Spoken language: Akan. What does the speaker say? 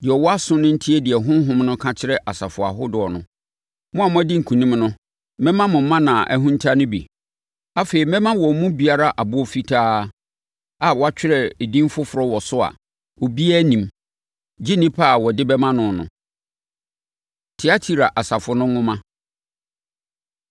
Deɛ ɔwɔ aso no ntie deɛ Honhom no ka kyerɛ asafo ahodoɔ no. Mo a moadi nkonim no, mɛma mo mana a ahinta no bi. Afei, mɛma wɔn mu biara ɛboɔ fitaa a wɔatwerɛ din foforɔ wɔ so a obiara nnim, gye onipa a wɔde bɛma no no. Tiatira Asafo No Nwoma